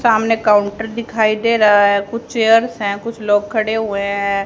सामने काउंटर दिखाई दे रहा है कुछ चेयर्स है कुछ लोग खड़े हुए है।